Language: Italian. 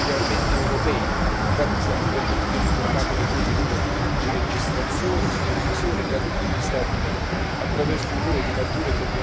Infatti, siamo intervenuti uniformando le procedure di registrazione e supervisione tra tutti gli Stati membri, attraverso un ruolo di maggiore coordinamento dell'ESMA.